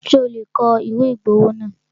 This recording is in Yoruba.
Ṣé o lè kọ ìwé ìgbowó náà?